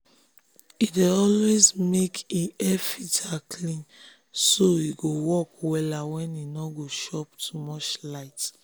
he dey always make him um air-filter clean so um e go work wella and e no go chop too much light.